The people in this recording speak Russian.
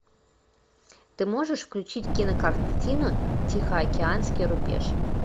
ты можешь включить кинокартину тихоокеанский рубеж